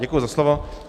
Děkuji za slovo.